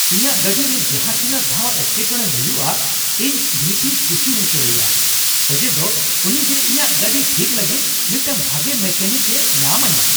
ᱤᱧᱟᱹᱜ ᱜᱟᱹᱰᱤᱨᱮ ᱡᱟᱦᱟᱸ ᱛᱤᱱᱟᱹᱜ ᱫᱷᱟᱣ ᱮᱴᱠᱮᱴᱚᱬᱮ ᱦᱩᱭᱩᱜᱼᱟ, ᱤᱧ ᱵᱷᱤ ᱯᱤ ᱠᱩᱥᱤ ᱦᱚᱪᱚᱭᱮᱭᱟ ᱚᱡᱮᱫᱚ ᱩᱱᱤᱜᱮ ᱤᱧᱟᱹᱜ ᱜᱟᱹᱰᱤ ᱴᱷᱤᱠ ᱞᱟᱹᱜᱤᱫ ᱢᱤᱫᱴᱟᱝ ᱵᱷᱟᱜᱮ ᱢᱮᱠᱟᱱᱤᱠᱮ ᱧᱟᱢ ᱟᱹᱧᱟᱹ ᱾